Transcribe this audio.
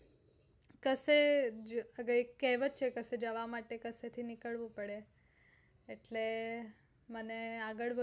કસે જવામાટે કસે થી નીકળવું પડે એટલે મને આગળ